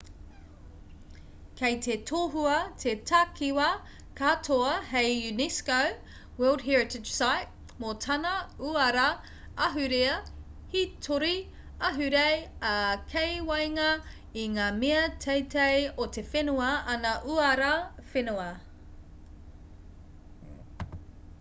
kei te tohua te takiwā katoa hei unesco world heritage site mō tana uara ahurea hītori ahurei ā kei waenga i ngā mea teitei o te whenua ana uara whenua